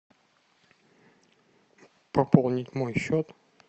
пополнить мой счет